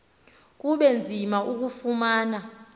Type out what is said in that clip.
kube nzima ukulufumana